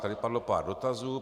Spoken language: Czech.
Tady padlo pár dotazů.